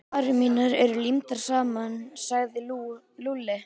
Varir mínar eru límdar saman sagði Lúlli.